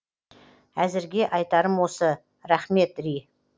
өзірге айтарым осы рахмет ри